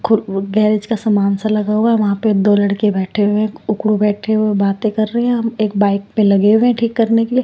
खुर गैरेज का सामान सा लगा हुआ है वहाँ पर दो लड़के बैठे हुए हैं उकड़ू बैठे हुए बातें कर रहे हैं अम एक बाइक पे लगे हुए हैं ठीक करने के लिए --